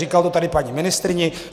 Říkal to tady paní ministryni.